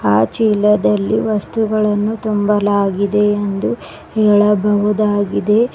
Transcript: ಆ ಚೀಲದಲ್ಲಿ ವಸ್ತುಗಳನ್ನು ತುಂಬಲಾಗಿದೆ ಎಂದು ಹೇಳಬಹುದಾಗಿದೆ.